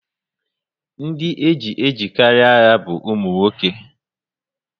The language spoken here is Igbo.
Ndị eji ejekarị agha bu umunwoke